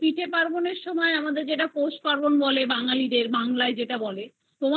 পার্বন বলে যেটা বাঙালিদের বাংলায় যেটা বলে তোমাদের